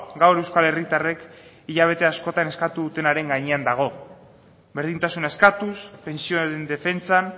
gaur euskal herritarrek hilabete askotan eskatu dutenaren gainean dago berdintasuna eskatuz pentsioaren defentsan